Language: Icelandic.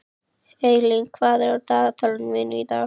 Eylín, hvað er á dagatalinu mínu í dag?